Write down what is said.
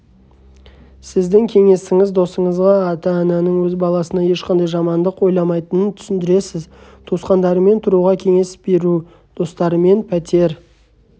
сіздің кеңесіңіз досыңызға ата-ананың өз баласына ешқашан жамандық ойламайтынын түсіндіресіз туысқандарымен тұруға кеңес беру достарымен пәтер